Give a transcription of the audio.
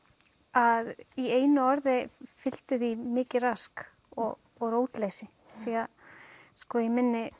að í einu orði fylgdi því mikið rask og og rótleysi því að í